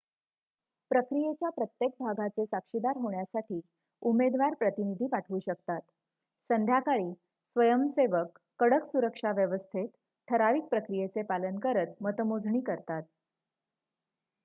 प्रक्रियेच्या प्रत्येक भागाचे साक्षीदार होण्यासाठी उमेदवार प्रतिनिधी पाठवू शकतात संध्याकाळी स्वयंसेवक कडक सुरक्षाव्यवस्थेत ठराविक प्रक्रियेचे पालन करत मतमोजणी करतात